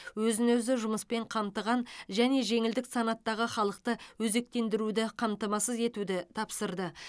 өзін өзі жұмыспен қамтыған және жеңілдік санаттағы халықты өзектендіруді қамтамасыз етуді тапсырды